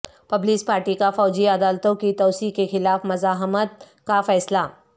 Peoples Party کا فوجی عدالتوں کی توسیع کے خلاف مزاحمت کا فیصلہ